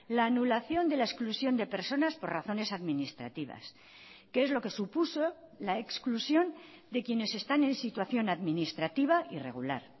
la anulación de la exclusión de personas por razones administrativas que es lo que supuso la exclusión de quienes están en situación administrativa irregular